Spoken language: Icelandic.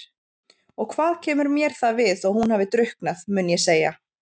Og hvað kemur mér það við þótt hún hafi drukknað, mun ég segja.